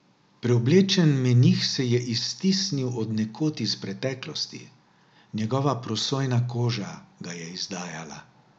Preoblečen menih se je iztisnil od nekod iz preteklosti, njegova prosojna koža ga je izdajala.